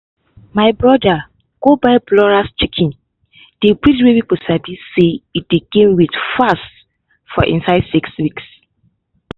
my brother go buy broiler chicks—di breed wey people sabi say e dey gain weight fast for inside six weeks.